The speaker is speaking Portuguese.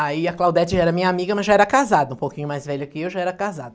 Aí a Claudete já era minha amiga, mas já era casada, um pouquinho mais velha que eu, já era casada.